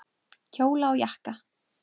Kjóla og jakka.